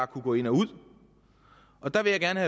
kunne gå ind og ud der vil jeg gerne